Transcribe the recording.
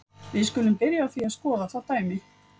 Við skulum byrja á því að skoða það dæmi.